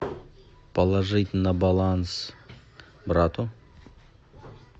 положить на баланс брату